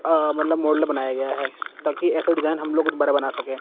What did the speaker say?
आ मतलब मॉडल बनाया गया है ताकि ऐसा डिजाइन हम लोग दोबारा बना सके--